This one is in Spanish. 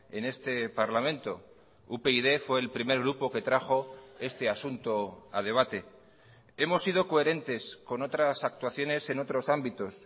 en este parlamento upyd fue el primer grupo que trajo este asunto a debate hemos sido coherentes con otras actuaciones en otros ámbitos